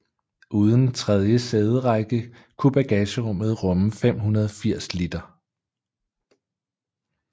Uden tredje sæderække kunne bagagerummet rumme 580 liter